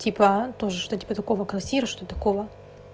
типа тоже что типа такого квартира что-то такого